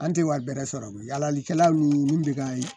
An tɛ wari bɛrɛ sɔrɔ yalalikɛla nunnu bɛ ka